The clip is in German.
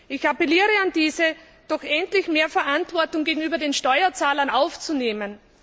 Ich appelliere an diese, doch endlich mehr Verantwortung gegenüber den Steuerzahlern zu übernehmen.